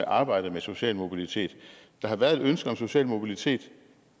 arbejdet med social mobilitet der har været et ønske om social mobilitet og